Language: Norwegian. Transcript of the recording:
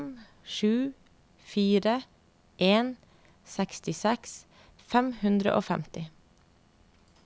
fem sju fire en sekstiseks fem hundre og femti